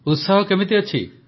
ଉତ୍ସାହ କେମିତି ଅଛି